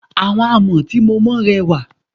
Àwọn àmọ́ tí mo mọ rẹwà.